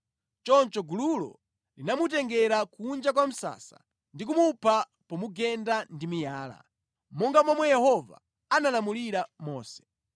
Choncho gululo linamutengera kunja kwa msasa ndi kumupha pomugenda ndi miyala, monga momwe Yehova analamulira Mose.